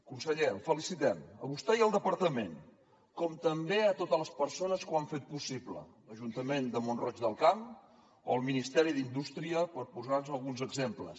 conseller el felicitem a vostè i al departament com també a totes les persones que ho han fet possible l’ajuntament de mont roig del camp o el ministeri d’indústria per posar ne alguns exemples